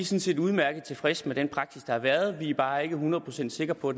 set udmærket tilfredse med den praksis der har været vi er bare ikke hundrede procent sikre på